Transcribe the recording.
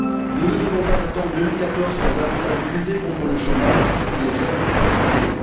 Nous ne devons pas attendre 2014 pour lutter davantage contre le chômage et celui des jeunes, en particulier.